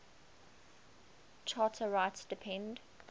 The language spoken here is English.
charter rights depend